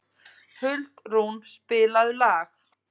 Huldrún, spilaðu lag.